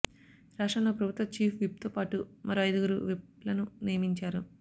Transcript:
రాష్ట్రంలో ప్రభుత్వ చీఫ్ విప్తో పాటు మరో అయిదుగురు విప్లను నియమించారు